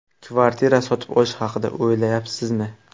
Kvartira sotib olish haqida o‘ylayapsizmi?